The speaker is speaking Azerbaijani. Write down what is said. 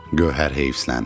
Gövhər heyfsiləndi.